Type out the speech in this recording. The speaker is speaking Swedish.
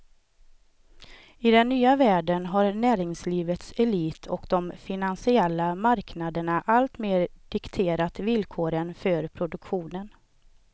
I den nya världen har näringslivets elit och de finansiella marknaderna alltmer dikterat villkoren för produktionen.